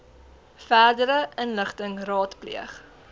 verdere inligting raadpleeg